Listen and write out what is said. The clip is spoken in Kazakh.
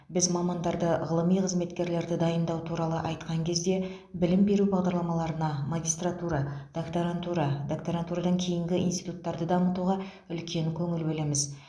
біз мамандарды ғылыми қызметкерлерді дайындау туралы айтқан кезде білім беру бағдарламаларына магистратура доктарантураға доктарантурадан кейінгі институттарды дамытуға үлкен көңіл бөлеміз